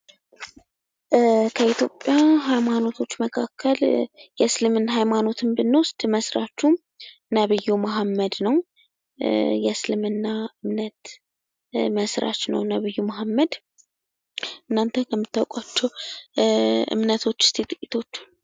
ከኢትዮጵያ ሀይማኖቶች መካከል የእስልምና ሃይማኖትን ብንወስድ መስራቹም ነብዩ ሙሀመድ ነው ። የእስልምና እምነት መስራች ነው ነብዩ ሙሀመድ ።እናንተ ከምታውቋቸው እምነቶች እስኪ ጥቂቶችን